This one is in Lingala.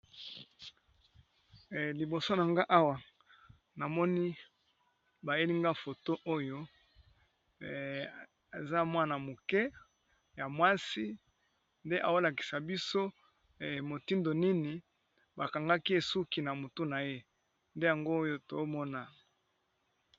Liboso na nga awa namoni bayelinga foto oyo aza mwana moke ya mwasi nde aolakisa biso motindo nini bakangaki ye suki na motu na ye nde yango oyo tomona.